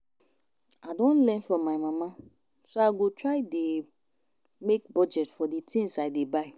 I don learn from my mama so I go try dey make budget for the things I dey buy